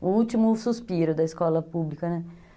o último suspiro da escola pública, né?